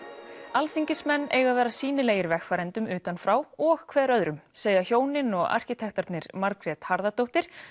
alþingismenn eiga að vera sýnilegir vegfarendum utan frá og hver öðrum segja hjónin og arkitektarnir Margrét Harðardóttir